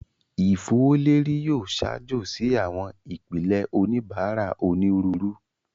Ifowoleri yoo ṣaajo si awọn ipilẹ oníbárà onírúurú